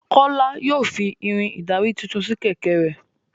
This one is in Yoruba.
Kola yóò fí Irin ìdarí títún sí kẹ̀kẹ́ rẹ.